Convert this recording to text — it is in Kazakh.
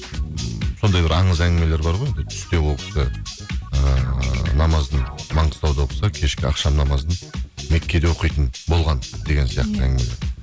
м сондай бір аңыз әңгімелері бар ғой енді түсте ол кісі ыыы намазын маңғыстауда оқыса кешке ақшам намазын меккеде оқитын болған деген сияқты әңгімелер